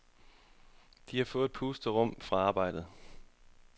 De har fået et pusterum fra arbejdet.